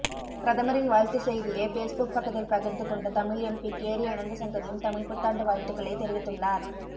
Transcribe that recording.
பிரதமரின் வாழ்த்துச் செய்தியை ஃபேஸ்புக் பக்கத்தில் பகிர்ந்து கொண்ட தமிழ் எம்பி கேரி அனந்தசங்கரியும் தமிழ்ப் புத்தாண்டு வாழ்த்துக்களை தெரிவித்துள்ளார்